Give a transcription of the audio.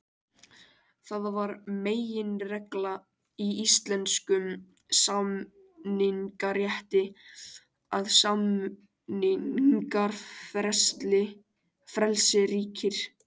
Það er meginregla í íslenskum samningarétti að samningafrelsi ríkir.